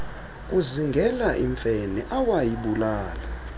kuzingela imfene awayibulala